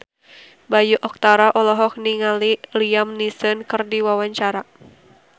Bayu Octara olohok ningali Liam Neeson keur diwawancara